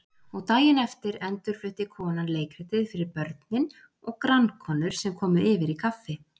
og daginn eftir endurflutti konan leikritið fyrir börnin og grannkonur sem komu yfir í kaffi.